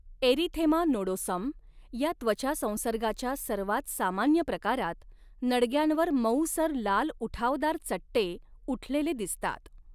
Erythema nodosum या त्वचा संसर्गाच्या सर्वात सामान्य प्रकारात, नडग्यांवर मऊसर लाल उठावदार चट्टे उठलेले दिसतात.